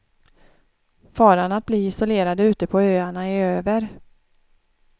Faran att bli isolerade ute på öarna är över.